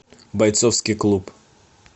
бойцовский клуб